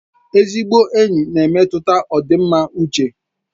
Ezigbo enyi na-emetụta ọdịmma uche